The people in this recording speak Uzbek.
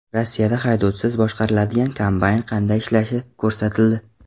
Rossiyada haydovchisiz boshqariladigan kombayn qanday ishlashi ko‘rsatildi .